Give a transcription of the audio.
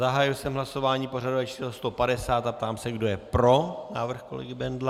Zahájil jsem hlasování pořadové číslo 150 a ptám se, kdo je pro návrh kolegy Bendla.